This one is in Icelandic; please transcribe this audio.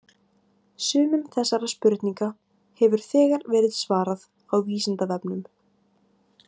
Sumum þessara spurninga hefur þegar verið svarað á Vísindavefnum.